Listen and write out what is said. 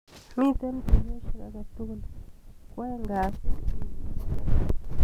Miite tuiyosiek akatukul kwaeng kasit wikinoo.